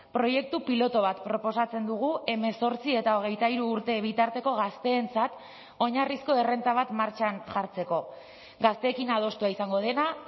proiektu pilotu bat proposatzen dugu hemezortzi eta hogeita hiru urte bitarteko gazteentzat oinarrizko errenta bat martxan jartzeko gazteekin adostua izango dena